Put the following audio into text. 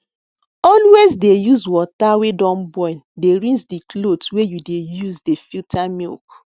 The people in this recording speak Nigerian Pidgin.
always dey use water wey don boil dey rinse the cloth wey you dey use dey filter milk